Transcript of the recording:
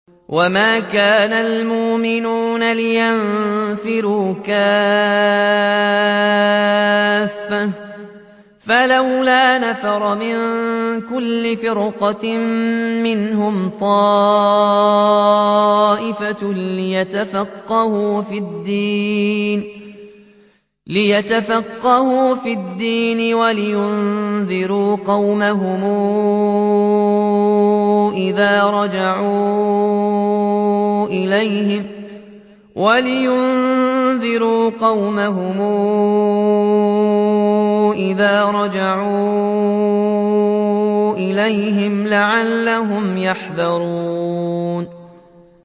۞ وَمَا كَانَ الْمُؤْمِنُونَ لِيَنفِرُوا كَافَّةً ۚ فَلَوْلَا نَفَرَ مِن كُلِّ فِرْقَةٍ مِّنْهُمْ طَائِفَةٌ لِّيَتَفَقَّهُوا فِي الدِّينِ وَلِيُنذِرُوا قَوْمَهُمْ إِذَا رَجَعُوا إِلَيْهِمْ لَعَلَّهُمْ يَحْذَرُونَ